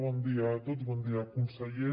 bon dia a tots bon dia conseller